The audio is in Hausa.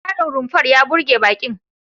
Tsarin rumfar ya burge baƙin.